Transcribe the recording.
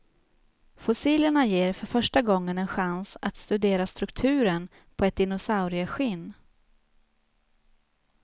Fossilerna ger för första gången en chans att studera strukturen på ett dinosaurieskinn.